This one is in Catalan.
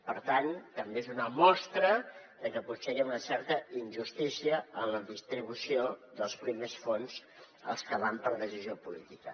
per tant també és una mostra de que potser hi ha una certa injustícia en la distribució dels primers fons els que van per decisió política